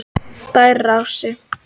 Bæjarási